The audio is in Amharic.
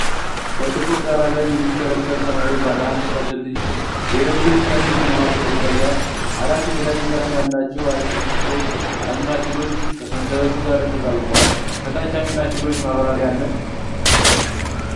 በጥቁር ዳራ ላይ የሚሽከረከር ሰማያዊ ባለአንድ ፈትል የሪቦኑክሊክ አሲድ (RNA) መዋቅር ይታያል። አራት የተለያዩ ቀለም ያላቸው አር ኤን ኤ አሚኖ አሲዶች (አዴኒን፣ ዩራሲል፣ ሳይቶሲንና ጉዋኒን) ከሰንሰለቱ ጋር ተጣብቀዋል። ከታች የአሚኖ አሲዶቹ ማብራሪያ አለ።